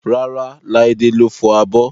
Rárá, Laide ló fọ abọ́